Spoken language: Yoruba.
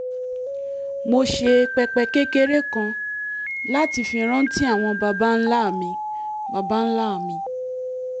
mo ṣe pẹpẹ kékeré kan láti fi rántí àwọn baba ńlá mi baba ńlá mi